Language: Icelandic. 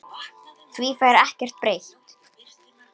Því fær ekkert breytt.